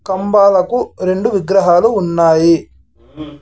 కంబాలకు రెండు విగ్రహాలు ఉన్నాయి ఉమ్.